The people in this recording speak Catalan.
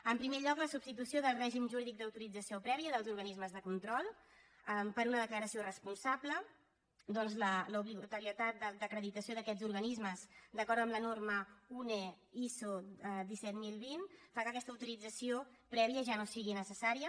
en primer lloc la substitució del règim jurídic d’autorització prèvia dels organismes de control per una declaració responsable ja que l’obligatorietat d’acreditació d’aquests organismes d’acord amb la norma une iso disset mil vint fa que aquesta autorització prèvia ja no sigui necessària